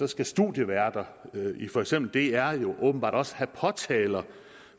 skal studieværter i for eksempel dr åbenbart også have påtaler